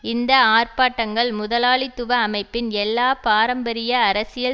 இந்த ஆர்ப்பாட்டங்கள் முதலாளித்துவ அமைப்பின் எல்லா பாரம்பரிய அரசியல்